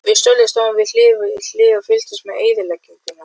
Við Sölvi stóðum hlið við hlið og fylgdumst með eyðileggingunni.